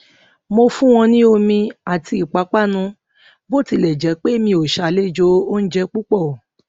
mo fún wọn ní omi àti ìpápánu bó tilè jé pé mi o ṣàlejò oúnjẹ púpọ